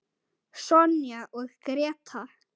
Sonja og Gréta.